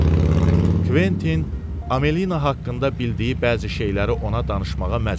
Kventin Amelina haqqında bildiyi bəzi şeyləri ona danışmağa məcbur oldu.